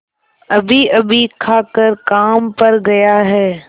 अभीअभी खाकर काम पर गया है